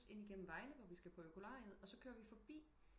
Ind igennem Vejle hvor vi skal på på økolariet og så kører vi forbi